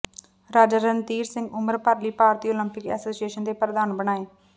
ਰਾਜਾ ਰਣਧੀਰ ਸਿੰਘ ਉਮਰ ਭਰ ਲਈ ਭਾਰਤੀ ਉਲੰਪਿਕ ਐਸੋਸੀਏਸ਼ਨ ਦੇ ਪ੍ਰਧਾਨ ਬਣਾਏ